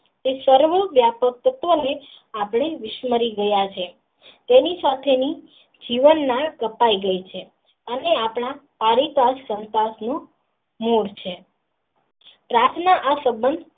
સર્વં વ્યાપ્ત આપણે વિસરી ગયા છીએ તેની સાથે ની જીવન માં કપાઈ ગઈ છે અને આપણા કારીકર પ્રાર્થના આ સબંધ.